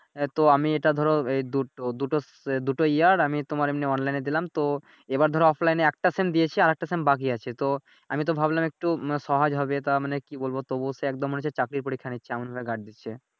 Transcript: এহ তো আমি এটা ধরো এই দুটো দুটো স দুটো ইয়ার আমি তোমার এমনি অনলাইনে দিলাম তো এইবার ধরো অফলাইনে একটা সেম দিয়েছি আর একটা সেম বাকি আছে তো আমি তো ভাবলাম একটু মানে সহজ হবে তা মানে কি বলবো তবুও হচ্ছে একদম মনে হচ্ছে চাকরির পরীক্ষা নিচ্ছে এমন ভাবে গার্ড দিচ্ছে।